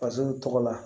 Faso tɔgɔ la